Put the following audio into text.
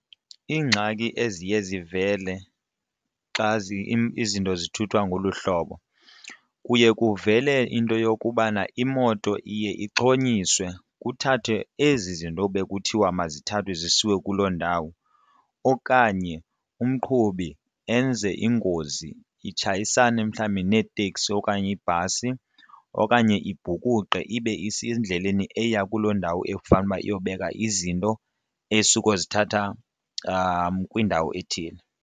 Iingxaki eziye zivele xa izinto zithuthwa ngolu hlobo kuye kuvele into yokubana imoto iye ixhonyiswe kuthathwe ezi zinto bekuthiwa mazithathwe zisiwe kuloo ndawo. Okanye umqhubi enze ingozi itshayisane mhlawumbi neetekisi okanye ibhasi okanye ibhukuqe ibe isendleleni eya kuloo ndawo ekufanele uba iyobeka izinto esukozithatha kwindawo ethile.